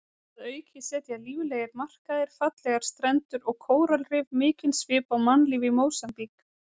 Að auki setja líflegir markaðir, fallegar strendur og kóralrif mikinn svip á mannlíf í Mósambík.